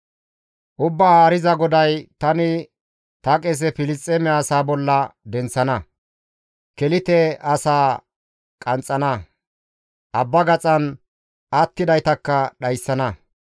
Ubbaa Haariza GODAY: tani ta qese Filisxeeme asaa bolla denththana; Kelite asaa qanxxana; abba gaxan attidaytakka dhayssana.